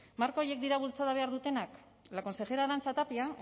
marka horiek dira bultzada behar dutenak la consejera arantxa tapia